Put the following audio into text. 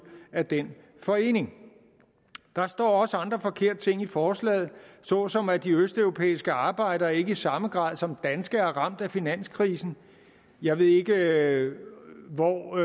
af den forening der står også andre forkerte ting i forslaget såsom at de østeuropæiske arbejdere ikke i samme grad som danske er ramt af finanskrisen jeg ved ikke hvor